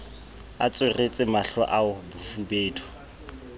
a tsweretse mahlo ao bofubedu